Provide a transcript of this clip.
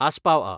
आसपाव आ.